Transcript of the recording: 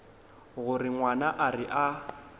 gore ngwana a re a